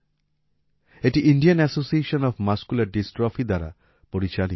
এটি Indian association of muscular dystrophy দ্বারা পরিচালিত